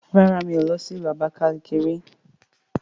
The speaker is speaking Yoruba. Rárá mí ò lọ sí ìlú Abakalaki ri